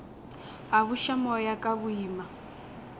a buša moya ka boima